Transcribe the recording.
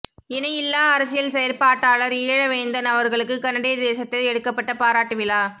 இணையில்லா அரசியல் செயற்பாட்டாளர் ஈழவேந்தன் அவர்களுக்கு கனடிய தேசத்தில் எடுக்கப்பட்ட பாராட்டு விழா